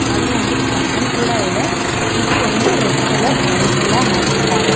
ಹಾಗೂ ಒಂದು ಫ್ಯಾನ್ ಕೂಡ ಇದೆ ಮತ್ತು ಒಂದು ರೆಡ್ ಕಲರ್ ಬೋರ್ಡ್ ಕೂಡ ಹಾಕಿದ್ದಾರೆ.